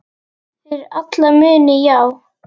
Fyrir alla muni, já.